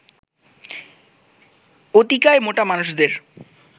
অতিকায় মোটা মানুষদের